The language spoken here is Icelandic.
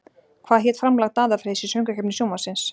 Hvað hét framlag Daða Freys í Söngvakeppni Sjónvarpsins?